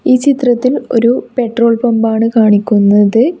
ഈ ചിത്രത്തിൽ ഒരു പെട്രോൾ പമ്പ് ആണ് കാണിക്കുന്നത്.